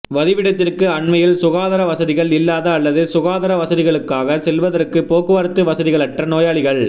வதிவிடத்திற்கு அண்மையில் சுகாதார வசதிகள் இல்லாத அல்லது சுகாதார வசதிகளுக்காக செல்வதற்கு போக்குவரத்து வசதிகளற்ற நோயாளிகள்